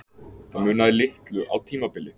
Það munaði litlu á tímabili.